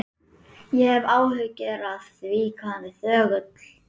Ég hef áhyggjur af því hvað hann er þögull.